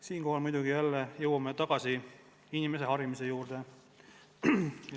Siinkohal jõuame muidugi jälle tagasi inimese harimise juurde.